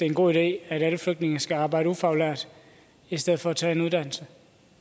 en god idé at alle flygtninge skal arbejde som ufaglærte i stedet for at tage en uddannelse